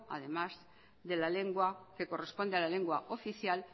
además de la lengua que corresponde a la lengua oficial